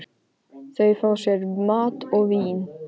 Þau fá sér mat og vín.